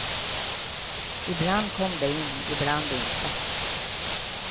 Ibland kom de in, ibland inte.